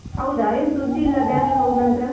ಹೌದಾ, ಏನ್ ಸುದ್ದಿ ಇಲ್ಲ Bangalore ಹೋದ್ನಂತ್ರ?